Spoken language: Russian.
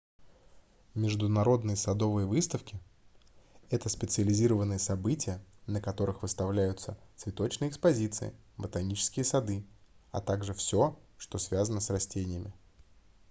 международные садовые выставки это специализированные события на которых выставляются цветочные экспозиции ботанические сады а также всё что связано с растениями